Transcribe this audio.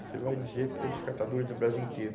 Você vai dizer pelos catadores do Brasil inteiro.